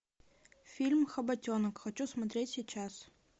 фильм хоботенок хочу смотреть сейчас